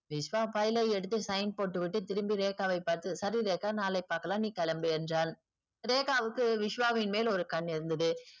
Vishwa file ஐ எடுத்து sign போட்டுவிட்டு திரும்பி ரேக்காவை பார்த்து சரி ரேக்கா நாளை பாக்கலாம் நீ கிளம்பு என்றான் ரேக்காவிற்கு விஷவாவின் மேல் ஒரு கண்ணு இருந்தது